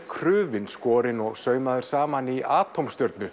krufinn skorinn og saumaður saman í